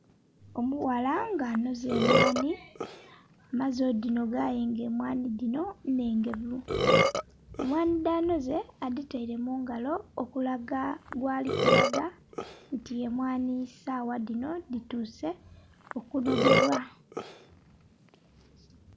Omuwala nga anhoze emwani amaze odhinoga aye nga emwani dhino nnhegevu. Emwani dhanoze adhitere mungalo okulaga gyali kulaga nti emwani esawa dhino dhituse okunogwbwa.